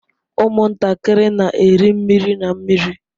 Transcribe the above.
Ụmụntakịrị na-eri mmiri na mmiri.